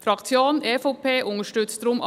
Die Fraktion EVP unterstützt deshalb